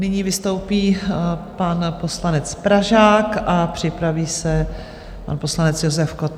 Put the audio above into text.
Nyní vystoupí pan poslanec Pražák a připraví se pan poslanec Josef Kott.